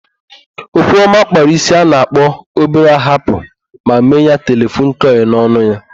Okwuọma kpara ísí a na-akpa obere ahapụ ma mee ya telefon kọịl n'ọnụ ya.